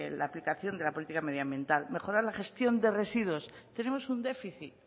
la aplicación de la política medioambiental mejorar la gestión de residuos tenemos un déficit